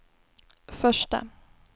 första